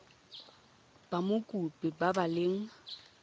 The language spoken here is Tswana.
ba mokopi ba ba leng